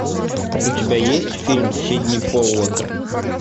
у тебя есть фильм сидни поллака